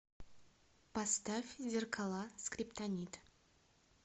поставь зеркала скриптонит